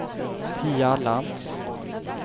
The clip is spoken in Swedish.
Pia Lantz